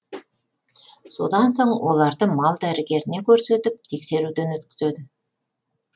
содан соң оларды мал дәрігеріне көрсетіп тексеруден өткізеді